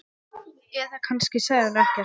Eða kannski sagði hún ekkert.